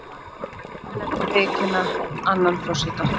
Mun ekki viðurkenna annan forseta